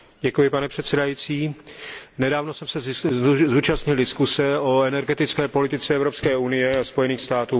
Pane předsedající, nedávno jsem se zúčastnil diskuse o energetické politice Evropské unie a Spojených států.